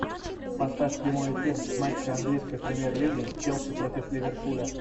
поставь прямой эфир матча английской премьер лиги челси против ливерпуля